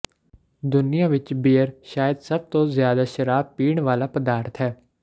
ਦੁਨੀਆ ਵਿਚ ਬੀਅਰ ਸ਼ਾਇਦ ਸਭ ਤੋਂ ਜ਼ਿਆਦਾ ਸ਼ਰਾਬ ਪੀਣ ਵਾਲਾ ਪਦਾਰਥ ਹੈ